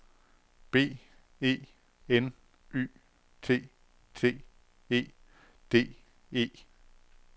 B E N Y T T E D E